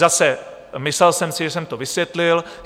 Zase, myslel jsem si, že jsem to vysvětlil.